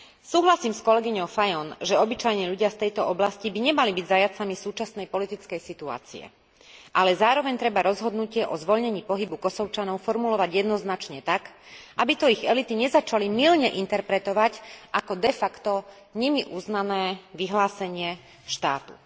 Súhlasím s kolegyňou Fajon, že obyčajní ľudia z tejto oblasti by nemali byť zajatcami súčasnej politickej situácie, ale zároveň treba rozhodnutie o zvoľnení pohybu Kosovčanov formulovať jednoznačne tak, aby to ich elity nezačali mylne interpretovať ako de facto nimi uznané vyhlásenie štátu.